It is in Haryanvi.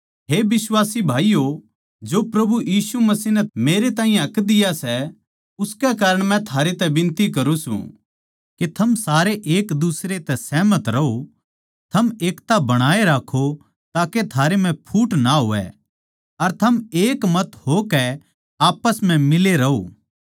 हे बिश्वासी भाईयो जो प्रभु यीशु मसीह नै मेरे ताहीं हक दिया सै उसकै कारण मै थारै तै बिनती करूँ सूं के थम सारे एक दुसरे तै सहमत रहो थम एकता बणाए राक्खों ताके थारै म्ह फूट ना होवै अर थम एक मत हो कै आप्पस म्ह मिले रहो